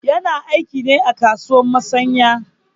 Yana aiki ne a kasuwar musanƴa.